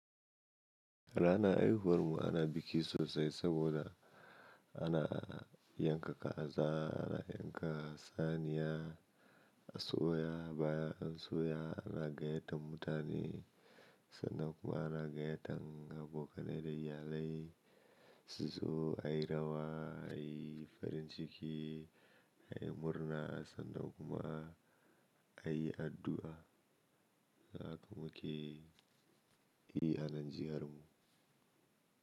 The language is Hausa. Rana haihuwar mu ana biki sosai saboda ana yanka kaza ana yanka saniya, asuya baya, asuya ana gayyatan mutane sannan kuma ana gayyatar abokanai da iyalai. Zuzo, ayi rawa, ayi farin ciki, ayi murna sannan kuma ayi addu'a. Sannan kuma ki yi hannun jihar mu.